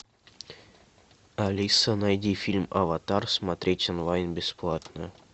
алиса найди фильм аватар смотреть онлайн бесплатно